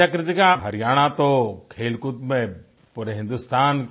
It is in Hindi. अच्छा कृतिका हरियाणा तो खेलकूद में पूरे हिन्दुस्तान